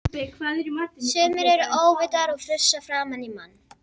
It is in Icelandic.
Sumir eru óvitar og frussa framan í mann!